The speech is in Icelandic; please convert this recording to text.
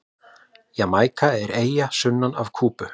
Jamaíka er eyja sunnan af Kúbu.